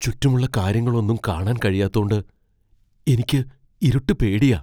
ചുറ്റുമുള്ള കാര്യങ്ങളൊന്നും കാണാൻ കഴിയാത്തോണ്ട് എനിക്ക് ഇരുട്ട് പേടിയാ .